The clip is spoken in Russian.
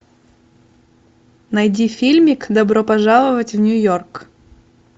найди фильмик добро пожаловать в нью йорк